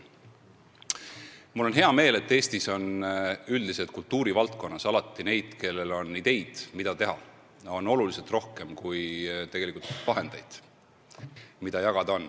Mul on hea meel, et Eestis üldiselt kultuuri valdkonnas on alati neid, kellel on ideid, mida teha, oluliselt rohkem kui vahendeid, mida jagada on.